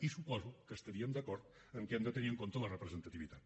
i suposo que estaríem d’acord en el fet que hem de tenir en compte la representativitat